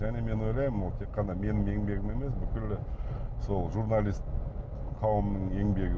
және мен ойлаймын ол тек қана менің еңбегім емес бүкілі сол журналист қауымының еңбегі